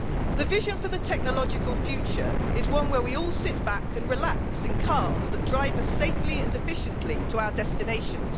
The vision for the technological future is one where we all sit back and relax in cars that drive us safely and efficiently to our destinations.